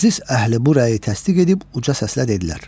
Məclis əhli bu rəyi təsdiq edib uca səslə dedilər.